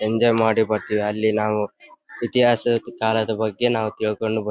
enjoy ಮಾಡಿ ಬರ್ತೀವಿ ಅಲ್ಲಿ ನಾವು ಇತಿಹಾಸದ ಕಾಲದ ಬಗ್ಗೆ ನಾವು ತಿಳ್ಕೊಂಡು ಬರ್ತೀ--